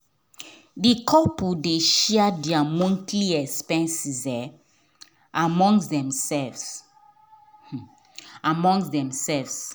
the couple dey share there monthly expenses among themselves among themselves